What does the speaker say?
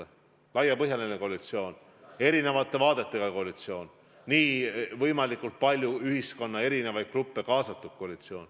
See on laiapõhjaline koalitsioon, erinevate vaadetega koalitsioon, kuhu on kaasatud võimalikult palju ühiskonna erinevaid gruppe.